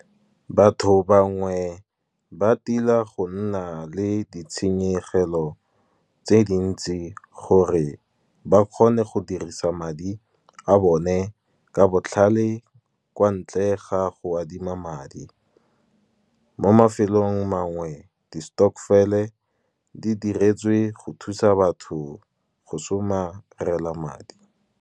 Batho bangwe ba tila go nna le ditshenyegelo tse dintsi, gore ba kgone go dirisa madi a bone ka botlhale, kwa ntle ga go adima madi. Mo mafelong a mangwe di stokvel-e di diretswe go thusa batho go somarela madi.